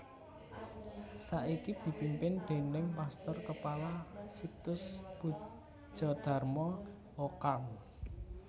Saiki dipimpin déning pastor kepala Sixtus Pudjadarma O Carm